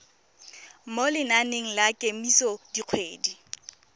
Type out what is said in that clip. mo lenaneng la kemiso dikgwedi